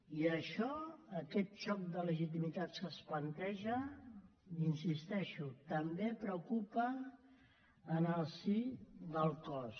i això aquest xoc de legitimitats que es planteja hi insisteixo també preocupa en el si del cos